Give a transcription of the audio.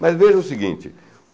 Mas veja o seguinte.